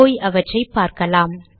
போய் அவற்றை பார்க்கலாம்